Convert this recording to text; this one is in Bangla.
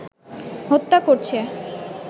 হত্যা করছে